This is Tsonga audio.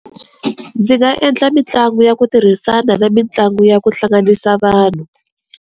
Ndzi nga endla mitlangu ya ku tirhisana na mitlangu ya ku hlanganisa vanhu.